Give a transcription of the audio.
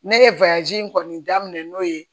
Ne ye in kɔni daminɛ n'o ye